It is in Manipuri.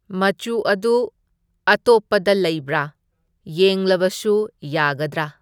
ꯃꯆꯨ ꯑꯗꯨ ꯑꯇꯣꯞꯄꯗ ꯂꯩꯕ꯭ꯔꯥ ꯌꯦꯡꯂꯕꯁꯨ ꯌꯥꯒꯗ꯭ꯔꯥ?